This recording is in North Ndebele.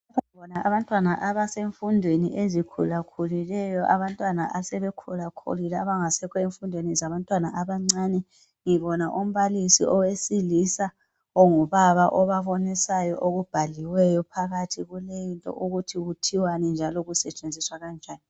Lapha ngibona abantwana abasemfundweni ezikhulakhulileyo, abantwana asebe khulakhulile abangasekho enfundweni zabantwana abancane. Ngibona umbalisi owesilisa ongubaba obabonisayo okubhaliweyo phakathi kuleyinto ukuthi kuthiwani njalo kusetshenziswa kanjani.